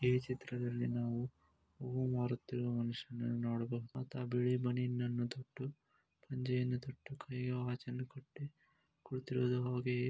ಈ ಚಿತ್ರದಲ್ಲಿ ನಾವು ಹೂ ಮಾರುತ್ತಿರುವ ಮನುಷ್ಯನನ್ನು ನೋಡಬಹುದು. ಆತ ಬಿಳಿ ಬನಿಯನ್ನ ತೊಟ್ಟು ಪಂಚೆಯನ್ನು ತೊಟ್ಟು ಕೈಗೆ ವಾಚ್ ಅನ್ನು ಹಾಕಿ ಕುಳಿ--